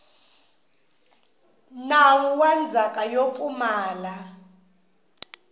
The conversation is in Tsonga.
nawu wa ndzhaka yo pfumala